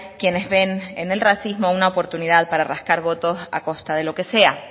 quienes ven en el racismo una oportunidad para rascar votos a costa de lo que sea